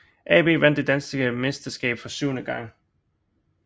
AB vandt det danske mesterskab for syvende gang